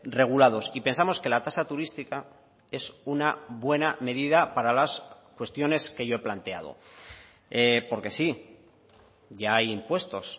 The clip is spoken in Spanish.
regulados y pensamos que la tasa turística es una buena medida para las cuestiones que yo he planteado porque sí ya hay impuestos